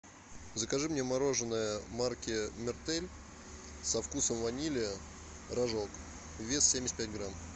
закажи мне мороженое марки мертель со вкусом ванили рожок вес семьдесят пять грамм